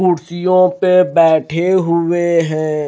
कुर्सियों पे बैठे हुए हैं।